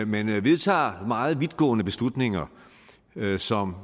man vedtager meget vidtgående beslutninger som